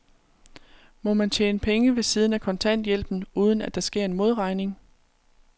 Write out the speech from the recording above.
Må man tjene penge ved siden af kontanthjælpen, uden at der sker en modregning?